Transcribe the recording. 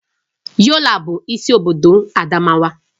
Yola bụ isi obodo Adamawa